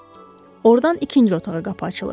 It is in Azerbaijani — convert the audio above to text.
Ordan ikinci otağa qapı açılır.